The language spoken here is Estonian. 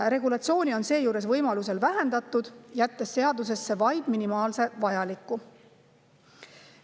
Regulatsiooni on seejuures võimalusel vähendatud, jättes seadusesse vaid minimaalse vajaliku.